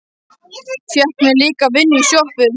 Fékk mér líka vinnu í sjoppu.